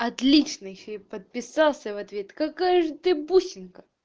отличный ещё и подписался в ответ какая же ты бусинка